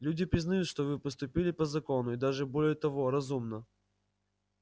люди признают что вы поступили по закону и даже более того разумно